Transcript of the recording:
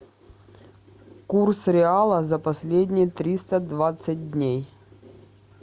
курс реала за последние триста двадцать дней